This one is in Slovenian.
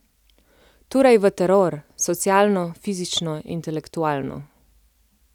Torej v teror, socialno, fizično, intelektualno.